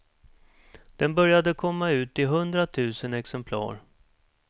Den började komma ut i hundra tusen exemplar.